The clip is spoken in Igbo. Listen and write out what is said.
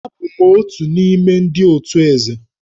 Abụ m otu n'ime ndị otù Eze